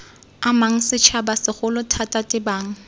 amang setšhaba segolo thata tebang